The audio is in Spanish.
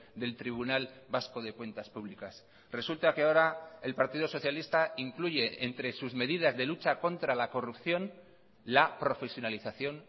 del tribunal vasco de cuentas públicas resulta que ahora el partido socialista incluye entre sus medidas de lucha contra la corrupción la profesionalización